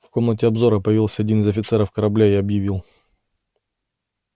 в комнате обзора появился один из офицеров корабля и объявил